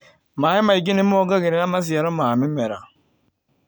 Maĩ maingĩ nĩmongagĩrĩra maciaro ma mĩmera.